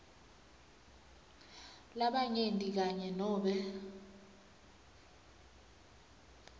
labanyenti kanye nobe